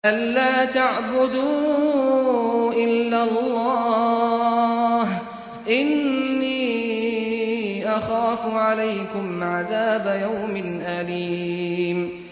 أَن لَّا تَعْبُدُوا إِلَّا اللَّهَ ۖ إِنِّي أَخَافُ عَلَيْكُمْ عَذَابَ يَوْمٍ أَلِيمٍ